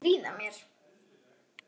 Eða ertu að stríða mér?